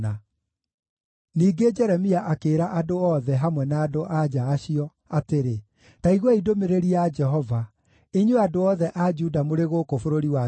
Ningĩ Jeremia akĩĩra andũ othe, hamwe na andũ-a-nja acio, atĩrĩ, “Ta iguai ndũmĩrĩri ya Jehova, inyuĩ andũ othe a Juda mũrĩ gũkũ bũrũri wa Misiri.